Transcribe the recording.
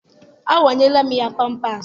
Awanyela m ya pampaasị.